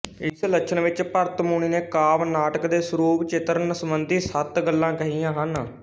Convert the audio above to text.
ਇਸ ਲਛਣ ਵਿੱਚ ਭਰਤ ਮੁਨੀ ਨੇ ਕਾਵਿ ਨਾਟਕ ਦੇ ਸਰੂਪਚਿਤਰਣ ਸਬੰਧੀ ਸੱਤ ਗੱਲਾਂ ਕਹੀਆਂ ਹਨ